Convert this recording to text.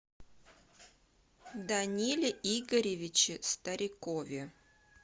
даниле игоревиче старикове